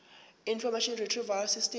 information retrieval system